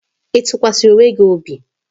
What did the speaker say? Ị tụkwasara onwe gị obi?